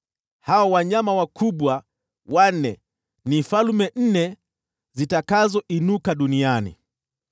‘Hao wanyama wanne wakubwa ni falme nne zitakazoinuka duniani.